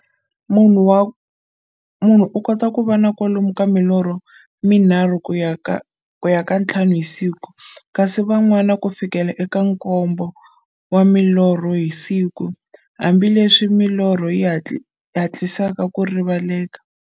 Munhu u kota ku va na kwalomu ka milorho mi nharhu ku ya ka ya nthlanu hi siku, kasi van'wana ku fikela eka nkombo wa milorho hi siku, hambileswi milorho yi hatlisaka ku rivaleka.